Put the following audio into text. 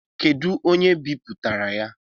Kedụ onye bipụtara ya?